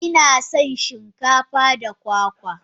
Inasan shin kafa da kwakwa.